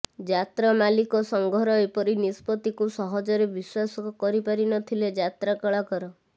ଯାତ୍ରା ମାଲିକ ସଙ୍ଘର ଏପରି ନିଷ୍ପତ୍ତିକୁ ସହଜରେ ବିଶ୍ୱାସ କରିପାରି ନ ଥିଲେ ଯାତ୍ରା କଳାକାର